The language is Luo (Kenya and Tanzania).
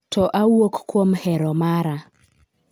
to awuok kuom hero mara